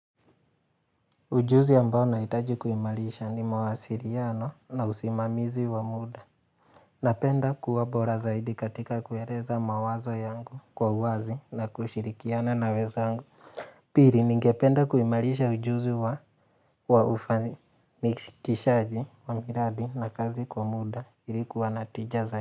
Ujuzi ambao nahitaji kuimarisha ni mawasiliano na usimamizi wa muda. Napenda kuwa bora zaidi katika kueleza mawazo yangu kwa uwazi na kushirikiana na wezangu. Pili ningependa kuimarisha ujuzi wa wa ufani ni nikishaji wa miradi na kazi kwa muda ili kuwa na tija za.